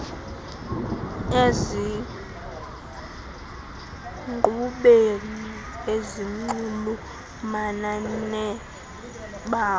ezinkqubeni ezinxulumana nebango